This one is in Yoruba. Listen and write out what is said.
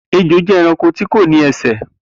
Ejò jẹ ẹranko tíkò ní ẹsẹ.